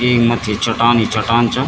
येक मत्थी चट्टान ही चट्टान चा।